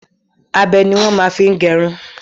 Bílèdì ní wọ́n máa ń fi gẹrun.